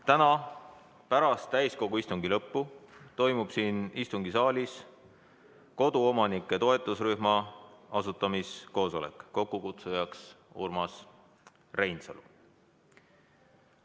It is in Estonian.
Täna pärast täiskogu istungi lõppu toimub siin istungisaalis koduomanike toetusrühma asutamiskoosolek, kokkukutsuja on Urmas Reinsalu.